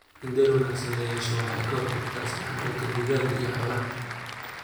In dayr wanaagsan la yeesho waxa ay ka hortagtaa isdhexgalka dugaagga iyo xoolaha.